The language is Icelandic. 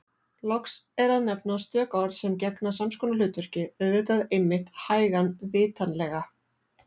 Loks er að nefna stök orð sem gegna sams konar hlutverki: auðvitað einmitt hægan vitanlega